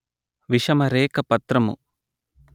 విషమ రేఖ పత్రము